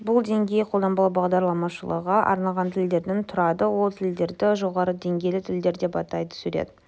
бұл деңгей қолданбалы бағдарламалаушыға арналған тілдерден тұрады ол тілдерді жоғарғы деңгейлі тілдер деп атайды сурет